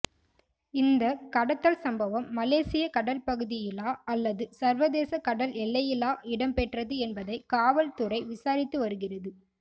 இந்தக் கடத்தல் சம்பவம் மலேசிய கடல்பகுதியிலா அல்லது சர்வதேச கடல் எல்லையிலா இடம்பெற்றது என்பதை காவல்துறை விசாரித்து வருகிறது